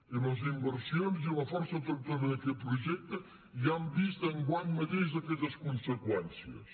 i les inversions i la força tractora d’aquest projecte ja han vist enguany mateix aquestes conseqüències